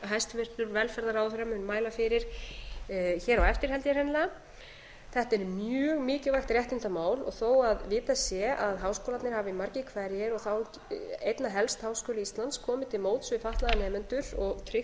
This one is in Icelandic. hæstvirtur velferðarráðherra mun mæla fyrir hér á eftir held ég hreinlega þetta er mjög mikilvægt réttindamál og þó að vitað sé að háskólarnir hafi margir hverjir og þá einna helst háskóli íslands komið til móts við fatlaða nemendur og tryggt